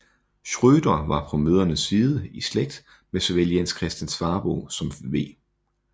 Schrøter var på mødrene side i slægt med såvel Jens Christian Svabo som V